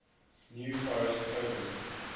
new forest coven